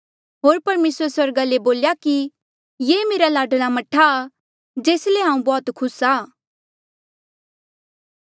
होर परमेसरे स्वर्गा ले बोल्या कि ये मेरा लाडला मह्ठा आ हांऊँ तुध किन्हें बौह्त खुस आ